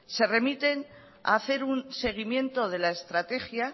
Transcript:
se remiten a hacer un seguimiento de la estrategia